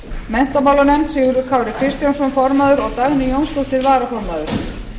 menntamálanefnd sigurður kári kristjánsson formaður og dagný jónsdóttir varaformaður